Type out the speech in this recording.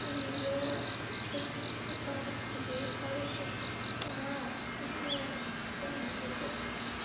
у неё чувства пропали к тебе короче она уже тебя не любит